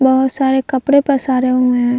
बहुत सारे कपड़े पसारे हुए है।